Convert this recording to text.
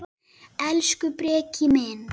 Elsku Breki minn.